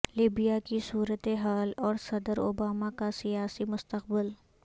Libya کی صورت حال اور صدر اوباما کا سیاسی مستقبل